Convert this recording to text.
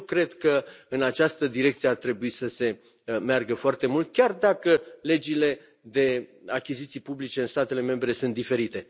Deci eu cred că în această direcție ar trebui să se meargă foarte mult, chiar dacă legile de achiziții publice în statele membre sunt diferite.